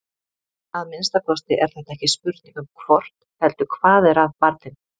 Að minnsta kosti er þetta ekki spurning um hvort heldur hvað er að barninu.